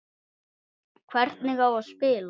Hvernig á spila?